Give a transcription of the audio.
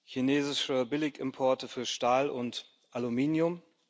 chinesische Billigimporte bei Stahl und Aluminium.